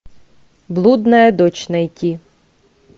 блудная дочь найти